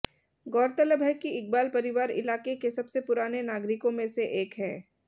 गौरतलब है कि इकबाल परिवार इलाके के सबसे पुराने नागरिकों में से एक हैं